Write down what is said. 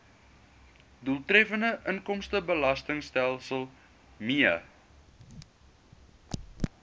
doeltreffende inkomstebelastingstelsel mee